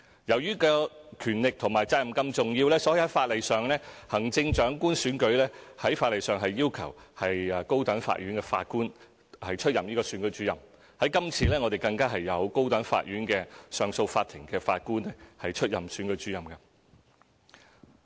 由於權力和責任是這樣重要，所以在法例上，行政長官選舉要求高等法院法官出任選舉主任，今次更有高等法院上訴法庭的法官出任選舉主任。